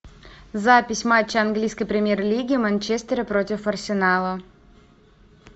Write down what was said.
запись матча английской премьер лиги манчестера против арсенала